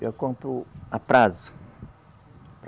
Eu compro a prazo.